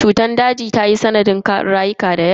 Cutar daji ta yi sanadin rayukan mutane da yawa.